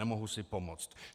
Nemohu si pomoct.